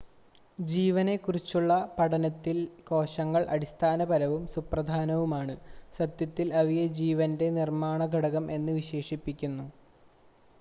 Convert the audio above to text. "ജീവനെക്കുറിച്ചുള്ള പഠനത്തിൽ കോശങ്ങൾ അടിസ്ഥാനപരവും സുപ്രധാനവുമാണ് സത്യത്തിൽ അവയെ "ജീവൻ്റെ നിർമ്മാണ ഘടകം" എന്ന് വിശേഷിപ്പിക്കുന്നു.